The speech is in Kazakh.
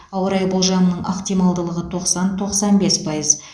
ауа райы болжамының ықтималдылығы тоқсан тоқсан бес пайыз